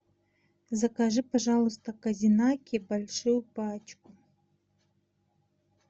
закажи пожалуйста козинаки большую пачку